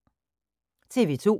TV 2